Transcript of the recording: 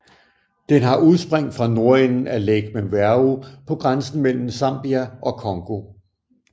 Den har udspring fra nordenden af Lake Mweru på grænsen mellem Zambia og Congo